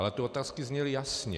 Ale ty otázky zněly jasně.